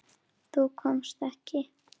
Þú komst ekki.